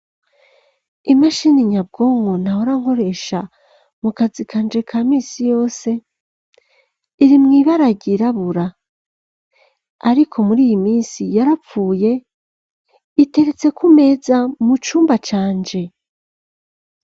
Imashini nyabwonko, nahora nkoresha, mu kazi kanje, ka misi yose, iri mw'ibara ryirabura, ariko, muri iyi minsi, yarapfuye, iteretse kumeza, mu cumba canje.